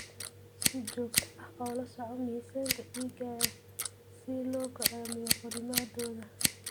Si joogto ah ula soco miisaanka digaagga si loo go'aamiyo korriimadooda.